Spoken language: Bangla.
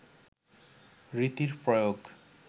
রীতির প্রয়োগ